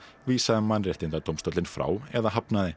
vísaði Mannréttindadómstólinn frá eða hafnaði